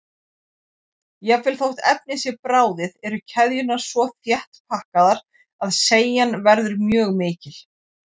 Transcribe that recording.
Jafnvel þótt efnið sé bráðið eru keðjurnar svo þétt pakkaðar að seigjan verður mjög mikil.